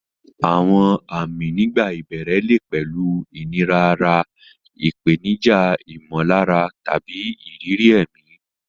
Àwọn àmì nígbà ìbẹ̀rẹ̀ lè pẹ̀lú ìnira ara, ìpèníjà ìmọ̀lára, tàbí ìrírí ẹ̀mí.